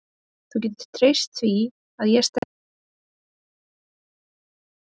Þú getur treyst því að ég stend eitthundrað prósent á bak við þig.